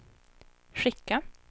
skicka